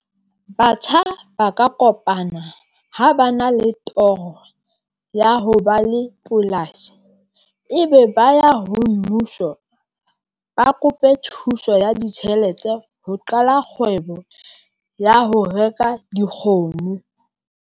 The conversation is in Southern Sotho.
Batjha ba ka kopana ha ba na le toro ya ho ba le polasi, e be ba ya ho mmuso. Ba kope thuso ya ditjhelete ho qala kgwebo ya ho reka dikgomo.